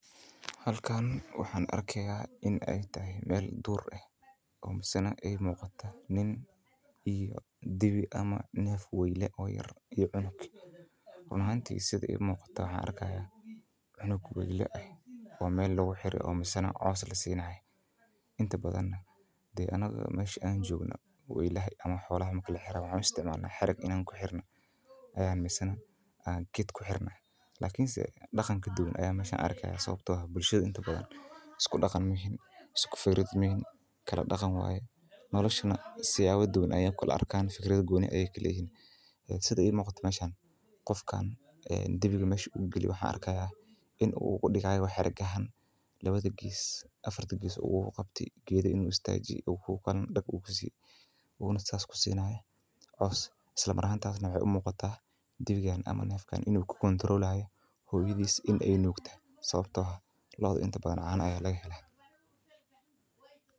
Halkan waxaan arkaaya inaay tahay meel duur ah nin iyo naf iyo cunug weyla ah oo meel lagu xire oo coos lasiinayo anaga xariga ayaa kuxirnaa lakin meeshan si kale ayaa ii muuqataa lakin ninkan dibiga meel ayuu galiye lakin waxaa laga yaaba cunuga inuu ku qasbaayo inaay hoyadeed nuugto sababta oo ah caana ayaa laga helaa.